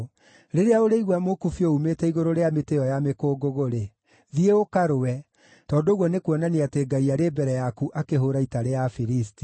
Rĩrĩa ũrĩigua mũkubio uumĩte igũrũ rĩa mĩtĩ ĩyo ya mĩkũngũgũ-rĩ, thiĩ ũkarũe, tondũ ũguo nĩkuonania atĩ Ngai arĩ mbere yaku akĩhũũra ita rĩa Afilisti.”